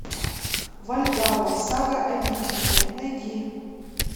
вальгалла сага о викинге найди